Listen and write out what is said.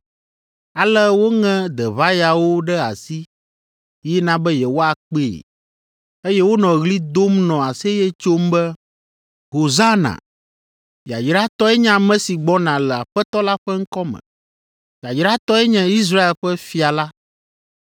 Ale woŋe deʋayawo ɖe asi yina be yewoakpee, eye wonɔ ɣli dom nɔ aseye tsom be, “Hosana!” “Yayratɔe nye ame si gbɔna le Aƒetɔ la ƒe ŋkɔ me!” “Yayratɔe nye Israel ƒe fia la!”